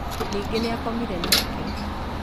Ningĩ nĩakomire nake.